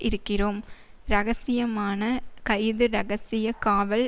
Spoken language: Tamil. இருக்கிறோம் இரகசியமான கைது இரகசிய காவல்